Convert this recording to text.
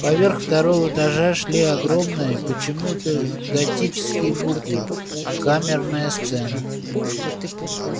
поверх второго этажа шли огромные почему-то готические буквы камерная сцена